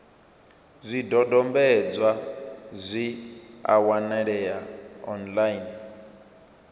zwidodombedzwa zwi a wanalea online